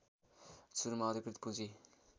सुरुमा अधिकृत पूँजी